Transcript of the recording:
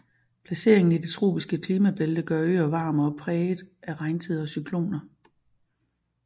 Placeringen i det tropiske klimabælte gør øen varm og præget af regntider og cykloner